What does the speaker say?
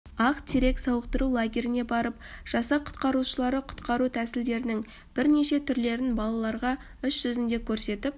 ақ терек сауықтыру лагеріне барып жасақ құтқарушылары құтқару тәсілдерінің бірнеше түрлерін балаларға іс жүзінде көрсетіп